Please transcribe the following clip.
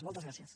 moltes gràcies